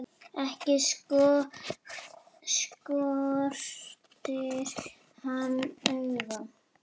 Ekki skortir hann augun.